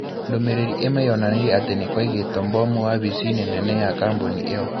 Ndũmĩrĩri ĩmwe yonanirie atĩ nĩ kwaigĩtwo mbomu wavici-inĩ nene ya kambuni ĩyo.